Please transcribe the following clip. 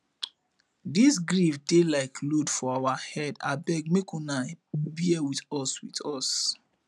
dis grief dey like load for our head abeg make una bear wit us wit us